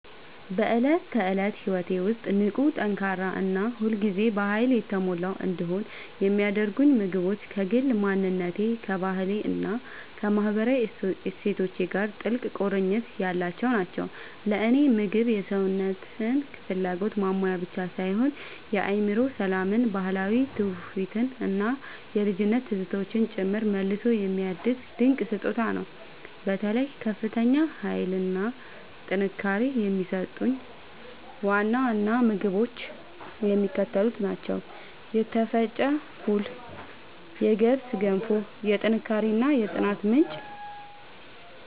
በዕለት ተዕለት ሕይወቴ ውስጥ ንቁ፣ ጠንካራ እና ሁል ጊዜ በኃይል የተሞላሁ እንድሆን የሚያደርጉኝ ምግቦች ከግል ማንነቴ፣ ከባህሌ እና ከማህበራዊ እሴቶቼ ጋር ጥልቅ ቁርኝት ያላቸው ናቸው። ለእኔ ምግብ የሰውነትን ፍላጎት ማሟያ ብቻ ሳይሆን የአእምሮ ሰላምን፣ ባህላዊ ትውፊትን እና የልጅነት ትዝታዎችን ጭምር መልሶ የሚያድስ ድንቅ ስጦታ ነው። በተለይ ከፍተኛ ኃይል እና ጥንካሬ የሚሰጡኝን ዋና ዋና ምግቦች የሚከተሉት ናቸው የተፈጨ ፉል የገብስ ገንፎ፦ የጥንካሬ እና የጽናት ምንጭ